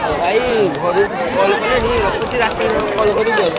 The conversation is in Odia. ହଉ ଭାଇ ଘରୁ call କଲେଣି ରଖୁଛି ରାତିକି ନହେଲେ call କରିବି ଆଉ।